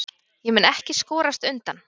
Ég mun ekki skorast undan.